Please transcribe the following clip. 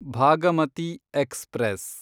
Bhagamati express